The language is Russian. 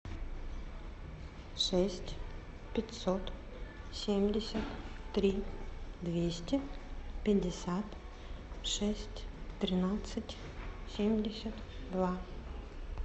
шесть пятьсот семьдесят три двести пятьдесят шесть тринадцать семьдесят два